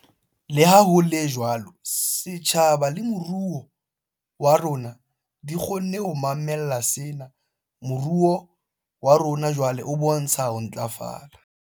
Leha ho le jwalo, setjhaba le moruo wa rona di kgonne ho mamella sena. Moruo wa rona jwale o bontsha ho ntlafala.